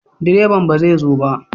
Direban ba zai zo ba?